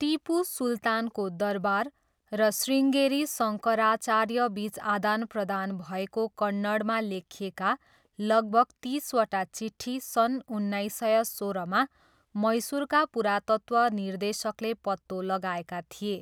टिपु सुल्तानको दरबार र शृङ्गेरी शङ्कराचार्यबिच आदानप्रदान भएको कन्नडमा लेखिएका लगभग तिसवटा चिट्ठी सन् उन्नाइस सय सोह्रमा मैसुरका पुरातत्त्व निर्देशकले पत्तो लगाएका थिए।